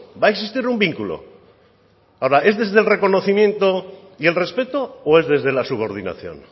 va a existir un vínculo ahora es desde el reconocimiento y el respeto o es desde la subordinación